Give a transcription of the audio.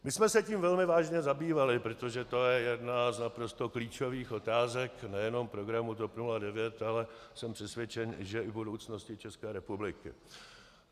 My jsme se tím velmi vážně zabývali, protože to je jedna z naprosto klíčových otázek nejenom programu TOP 09, ale jsem přesvědčen, že i budoucnosti České republiky.